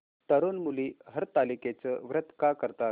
तरुण मुली हरतालिकेचं व्रत का करतात